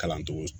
Kalancogo